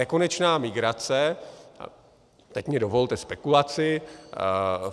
Nekonečná migrace - teď mi dovolte spekulaci.